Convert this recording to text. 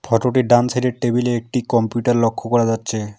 ফটোটির ডান সাইডের টেবিলে একটি কম্পিউটার লক্ষ্য করা যাচ্ছে।